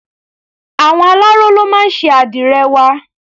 Àwọn aláró ló máa ń ṣe àdìrẹ wa.